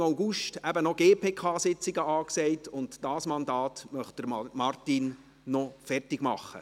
Im August sind nämlich noch GPK-Sitzungen angesagt, und dieses Mandat möchte Martin Boss noch beenden.